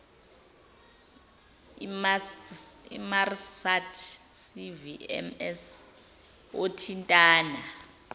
inmarsat cvms othintana